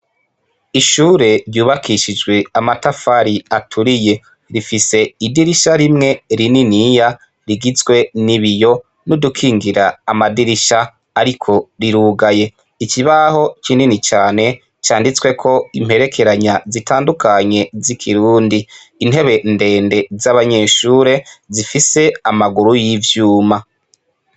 Ishure ryubakishijwe amatafari aturiye, rifise idirisha rimwe rininiya rigizwe n'ibiyo n'udukingira amadirisha ariko rirugaye, ikibaho kinini cane canditsweko imperekeranya zitandukanye z'ikirundi, intebe ndende z'abanyeshure zifise amaguru y'ivyuma.